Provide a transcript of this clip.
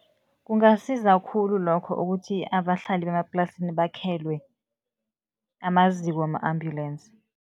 Kungasiza khulu lokho ukuthi abahlali bemaplasini bakhelwe amaziko wama-ambulensi.